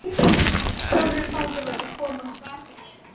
Sólrún fangavörður kom og sat hjá mér.